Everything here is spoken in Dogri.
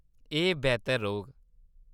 एह्‌‌ बेह्‌तर रौह्‌‌‌ग।